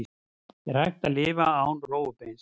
Er hægt að lifa án rófubeins?